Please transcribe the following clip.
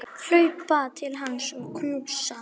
Hlaupa til hans og knúsa.